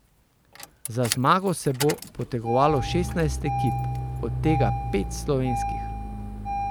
Za zmago se bo potegovalo šestnajst ekip, od tega pet slovenskih.